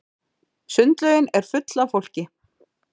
Sundlaugin er full af fólki.